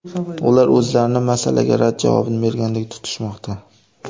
Ular o‘zlarini masalaga rad javobini bergandek tutishmoqda.